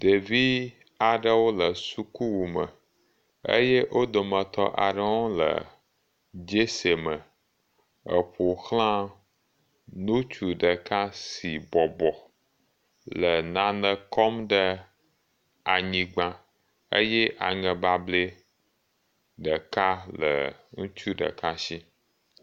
Ɖevi aɖewo le sukuwu me eye wo dometɔ aɖewo le jersey me eƒoxlã ŋutsu ɖeka si bɔbɔ le nane kɔm ɖe anyigba eye aŋe bablɛ ɖeka le ŋutsu ɖeka si.